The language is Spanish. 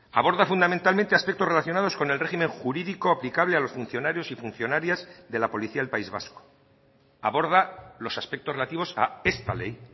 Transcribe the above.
aborda fundamentalmente aspectos relacionados con el régimen jurídico aplicable a los funcionarios y funcionarias de la policía del país vasco aborda los aspectos relativos a esta ley